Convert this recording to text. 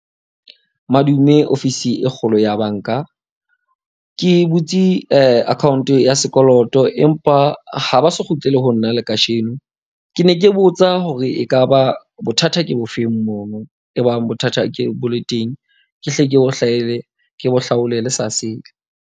Madume ofisi e kgolo ya banka. Ke butse account ya sekoloto. Empa ha ba so kgutlele ho nna le kasheno. Ke ne ke botsa hore ekaba bothata ke bofeng mono. E bang bothata ke bo le teng, ke hle ke bo ke bo hlaole le sa sele.